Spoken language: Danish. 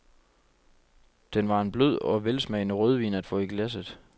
Den var en blød og velsmagende rødvin at få i glasset.